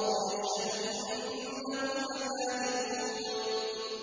وَاللَّهُ يَشْهَدُ إِنَّهُمْ لَكَاذِبُونَ